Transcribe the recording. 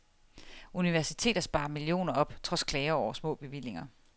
Universiteter sparer millioner op trods klager over små bevillinger.